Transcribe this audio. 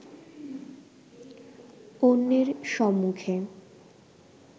অন্যের সম্মুখে